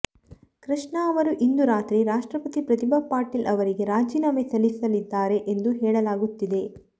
ಕೃಷ್ಣ ಅವರು ಇಂದು ರಾತ್ರಿ ರಾಷ್ಟ್ರಪತಿ ಪ್ರತಿಭಾ ಪಾಟೀಲ್ ಅವರಿಗೆ ರಾಜೀನಾಮೆ ಸಲ್ಲಿಸಲಿದ್ದಾರೆ ಎಂದು ಹೇಳಲಾಗುತ್ತಿದೆ